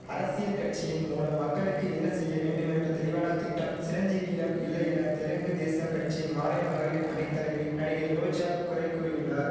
அரசியல் கட்சியின் மூலம் மக்களுக்கு என்ன செய்ய வேண்டுமென்ற தெளிவான திட்டம் சிரஞ்சீவியிடம் இல்லையென தெலுங்கு தேசம் கட்சியின் மாநில மகளிர் அணித் தலைவி நடிகை ரோஜா குறை கூறியுள்ளார்